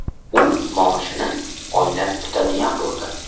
U maoshini oylab kutadigan bo‘ldi.